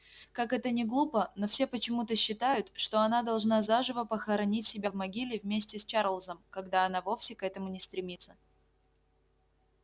как это ни глупо но все почему-то считают что она должна заживо похоронить себя в могиле вместе с чарлзом когда она вовсе к этому не стремится